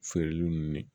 Feereli nunnu ne